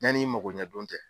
Ɲanni i magoɲɛ don cɛ.